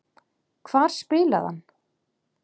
Hvar spilaði hann?